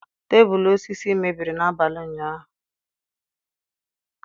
Tebụl osisi mebiri n'abalị ụnyahụ.